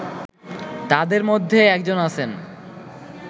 তাদের মধ্যে একজন আছেন